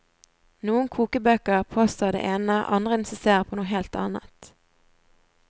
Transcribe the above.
Noen kokebøker påstår det ene, andre insisterer på noe helt annet.